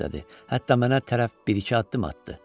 Hətta mənə tərəf bir-iki addım atdı.